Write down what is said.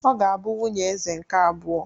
Ọ ga-abụ nwunye Eze nke abụọ.